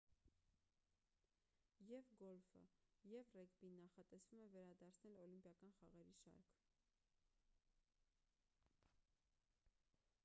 եվ գոլֆը և ռեգբին նախատեսվում է վերադարձնել օլիմպիական խաղերի շարք